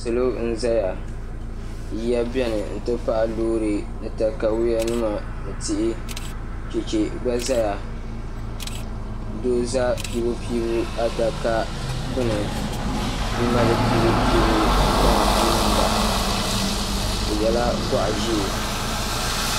salo n zaya yiya bɛni ni lorinima ni takayuyanima chɛchi gba zaa do. za pɛbupɛbu adaka gbani n mali pɛbupɛbu gbaŋ niŋ da o yɛla gɔɣ ʒiɛ